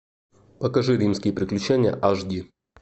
покажи римские приключения аш ди